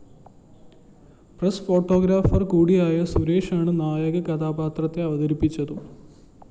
press photographer കൂടിയായ സുരേഷാണ് നായകകഥാപാത്രത്തെ അവതരിപ്പിച്ചതും